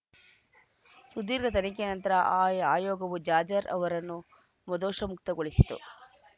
ಸುದೀರ್ಘ ತನಿಖೆಯ ನಂತರ ಆ ಆಯೋಗವೂ ಜಾಜ್‌ರ್ ಅವರನ್ನು ಮುದೋಷ ಮುಕ್ತಗೊಳಿಸಿತು